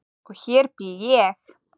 Og hér bý ég!